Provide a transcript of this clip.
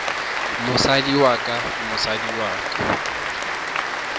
mosadi wa ka mosadi wa